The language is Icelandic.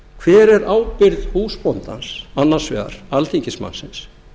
hver er ábyrgð húsbóndans annars vegar alþingismannsins